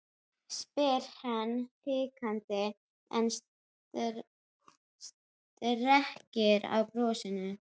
spyr hann hikandi en strekkir á brosinu.